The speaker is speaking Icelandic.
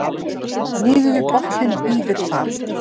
niður við botninn bíður þar